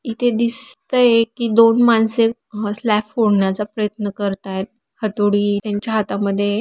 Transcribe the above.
इथे दिसतय कि दोन माणसे हा स्लॅब फोडण्याचा प्रयत्न करता एत. हथोडी त्यांच्या हाथामध्ये--